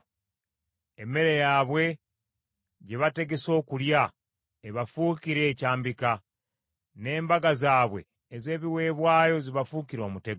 Emmere yaabwe gye bategese okulya ebafuukire ekyambika, n’embaga zaabwe ez’ebiweebwayo zibafuukire omutego.